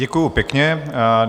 Děkuji pěkně.